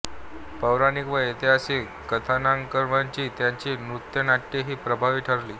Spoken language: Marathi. पौराणिक व ऐतिहासिक कथानकांवरची त्यांची नृत्यनाट्येही प्रभावी ठरली